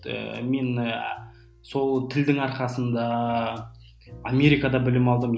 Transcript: мен ііі сол тілдің арқасында америкада білім алдым